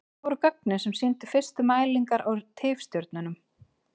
Þetta voru gögnin sem sýndu fyrstu mælingar á tifstjörnum.